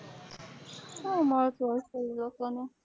શું મળતું હશે ઈ લોકો ને?